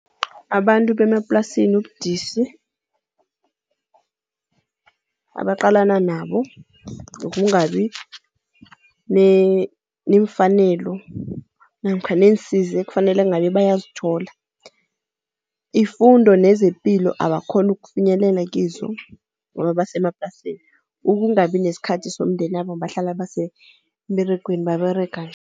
Abantu bemaplasini ubudisi, abaqalana nabo ukungabi nemfanelo namkha neensiza ekufanele ngabe bayazithola. Ifundo nezepilo abakhoni ukufinyelela kizo ngoba basemaplasini. Ukungabi nesikhathi somndenabo, bahlala besemberegweni baberega.